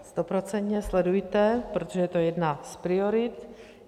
Stoprocentně sledujte, protože je to jedna z priorit.